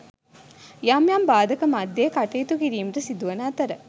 යම් යම් බාධක මධ්‍යයේ කටයුතු කිරීමට සිදුවන අතර